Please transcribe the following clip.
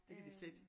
Det kan de slette